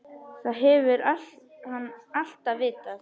Það hefur hann alltaf vitað.